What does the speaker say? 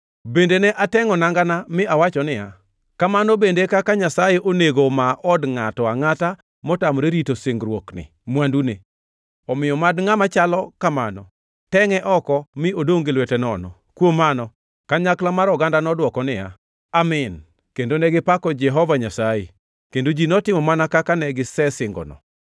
Bende ne atengʼo nangana mi awacho niya, “Kamano bende e kaka Nyasaye onego omaa od ngʼato angʼata motamore rito singruokni mwandune. Omiyo mad ngʼama chalo kamano tengʼe oko mi odongʼ gi lwete nono!” Kuom mano, kanyakla mar oganda nodwoko niya, “Amin,” kendo negipako Jehova Nyasaye. Kendo ji notimo mana kaka ne gisesingono.